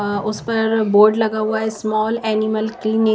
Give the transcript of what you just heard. उस पर बोर्ड लगा हुआ है स्मॉल एनिमल --